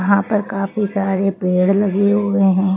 यहाँ पर काफी सारे पेड़ लगे हुए हैं।